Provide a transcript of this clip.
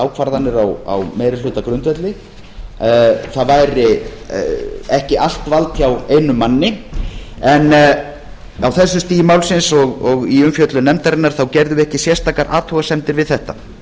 ákvarðanir á meirihlutagrundvelli það væri ekki allt vald hjá einum manni en á þessu stigi málsins og í umfjöllun nefndarinnar gerðum við ekki sérstakar athugasemdir við þetta hins